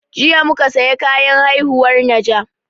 Jiya muka saya kayan haihuwar najah